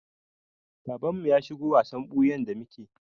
Babanmu ya shigo wasan ɓuyan da muke.